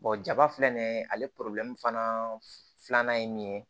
jaba filɛ nin ye ale fana filanan ye min ye